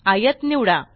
आयत निवडा